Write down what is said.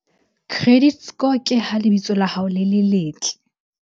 Credit score ke ha lebitso la hao le le letle.